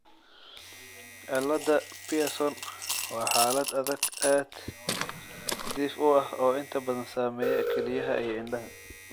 cillada Pierson waa xaalad aad dhif u ah oo inta badan saameeya kelyaha iyo indhaha.